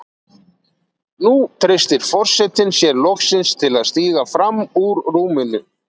Nú treystir forsetinn sér loksins til að stíga fram úr rúminu.